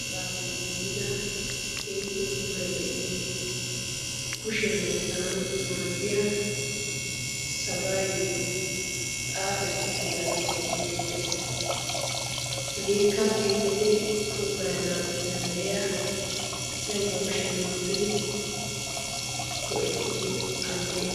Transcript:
aqaafe giigida kehife puulai de7iyo kushiyan oottanawu maaddiya sagaayyoi xaaxettuttidaagee beettees hageekka keiife puulaana danddayiya asai ba kushiyan oottidi do7ettiyo alle